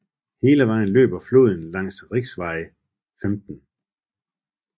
Hele vejen løber floden langs riksvei 15